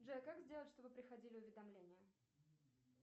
джой как сделать чтобы приходили уведомления